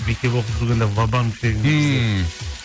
мектеп оқып жүгенде ва банк деген ммм